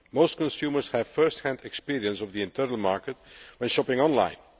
Most consumers have first hand experience of the internal market when shopping online.